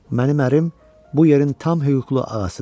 Mənim ərim bu yerin tam hüquqlu ağasıdır.